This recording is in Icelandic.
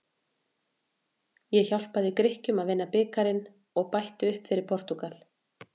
Ég hjálpaði Grikkjum að vinna bikarinn og bætti upp fyrir Portúgal.